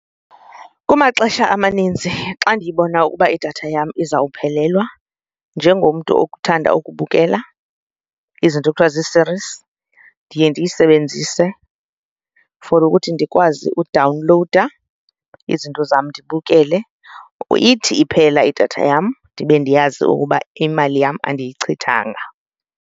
Kumaxesha amaninzi xa ndiyibona ukuba idatha yam izawuphelelwa, njengomntu okuthanda ukubukela izinto ekuthiwa zii-series, ndiye ndiyisebenzise for ukuthi ndikwazi udawunlowuda izinto zam ndibukele. Ithi iphela idatha yam ndibe ndiyazi ukuba imali yam andiyichithanga.